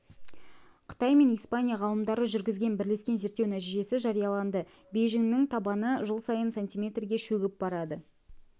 қытай мен испания ғалымдары жүргізген бірлескен зерттеу нәтижесі жарияланды бейжіңнің табаны жыл сайын сантиметрге шөгіп барады